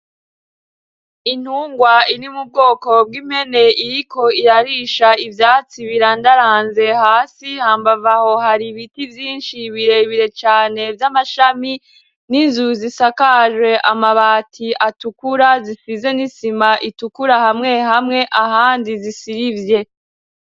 Intungwa ini mu bwoko bw'imene iriko irarisha ivyatsi birandaranze hasi hambavaho hari ibiti vyinshi birebire cane vy'amashami n'inzu zisakaje amabati atukura zisize n'isima itukura hamwe hamwe ahandi zisirivye.